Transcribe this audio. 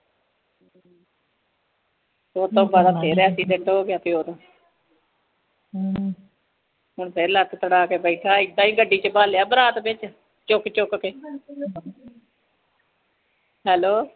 ਉਸ ਤੋਂ ਬਾਅਦ ਫਿਰ ਐਕਸੀਡੈਂਟ ਹੋ ਗਿਆ ਪਿਓ ਦਾ ਹੁਣ ਫਿਰ ਲੱਤ ਤੁੜਾ ਕੇ ਬੈਠਾ ਏ ਏਦਾਂ ਹੀ ਗੱਡੀ ਚ ਬਾਹ ਲਿਆ ਬਰਾਤ ਚ ਚੁੱਕ ਚੁੱਕ ਕੇ hello